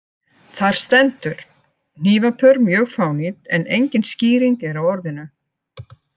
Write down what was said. Þar stendur: hnífapör mjög fánýt en engin skýring er á orðinu.